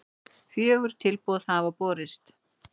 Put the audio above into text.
Fjögur tilboð hafa borist